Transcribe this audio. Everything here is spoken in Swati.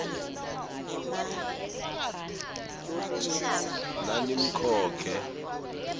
nanimkhokhe